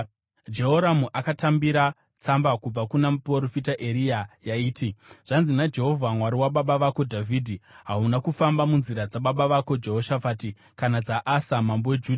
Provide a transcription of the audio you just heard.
Jehoramu akatambira tsamba kubva kuna muprofita Eria yaiti: “Zvanzi naJehovha, Mwari wababa vako Dhavhidhi: ‘Hauna kufamba munzira dzababa vako Jehoshafati kana dzaAsa mambo weJudha.